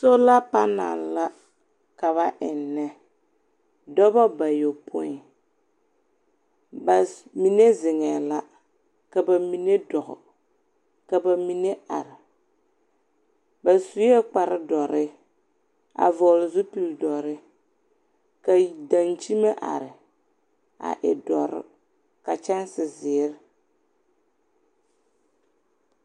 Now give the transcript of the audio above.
Sola panɛl la ka ba ennɛ. Dɔbɔ bayopoi, ba s mine zeŋɛɛ la, ka ba mine dɔɔ, ka ba mine ar. Ba suee kparre dɔrre, a vɔgle zupil dɔrre. Ka y dankyime are a e dɔr, ka kyanse zeer.